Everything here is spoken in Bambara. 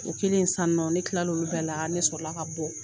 O kelen san nɔ ne kilala olu bɛɛ la ne sɔrɔla ka bɔ